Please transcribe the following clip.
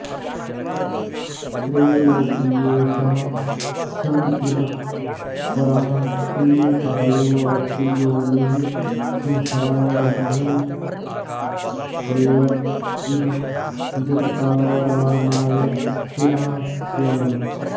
त्रैलोक्येशः शम इव परः पुण्यकायोऽप्ययोनिः संसाराब्धौ प्लव इव जगत्तारणाय स्थिरः स्याम्